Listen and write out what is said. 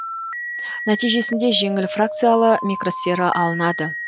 нәтижесінде жеңіл фракциялы микросфера алынады